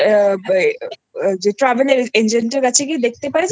যে Travel Agentএর কাছে গিয়ে দেখতে পারে যে চার লক্ষ